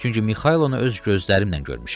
çünki Mixailonu öz gözlərimlə görmüşəm.